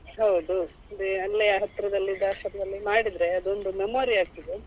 ಹೌದು ಅದೇ ಅಲ್ಲೇ ಹತ್ತಿರದಲ್ಲಿ ಇದ್ದ ಆಶ್ರಮದಲ್ಲಿ ಮಾಡಿದ್ರೆ ಅದೊಂದು memory ಆಗ್ತದೆ ಅಂತ.